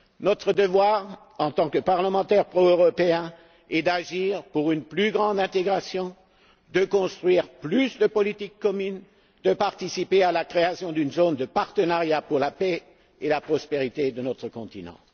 Notre devoir, en tant que parlementaires proeuropéens, est d'agir pour une plus grande intégration, de construire plus de politiques communes, de participer à la création d'une zone de partenariat pour la paix et la prospérité de notre continent.